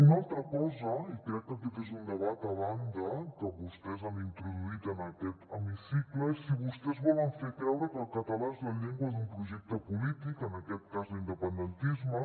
una altra cosa i crec que aquest és un debat a banda que vostès han introduït en aquest hemicicle és si vostès volen fer creure que el català és la llengua d’un projecte polític en aquest cas l’independentisme